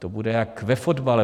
To bude jak ve fotbale.